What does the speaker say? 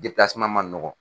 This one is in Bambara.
man nɔgɔn.